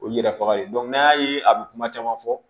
Olu yɛrɛ faga de n'an y'a ye a bi kuma caman fɔ